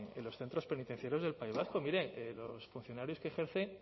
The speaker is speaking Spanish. en los centros penitenciarios del país vasco miren los funcionarios que ejercen